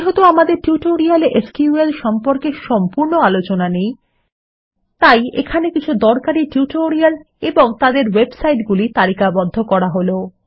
যেহেতু আমাদের টিউটোরিয়ালে এসকিউএল সম্পর্কে সম্পূর্ণ আলোচনা নেই তাই এখানে কিছু দরকারী টিউটোরিয়াল এবং তাদের ওয়েবসাইটগুলি তালিকাবদ্ধ করা হল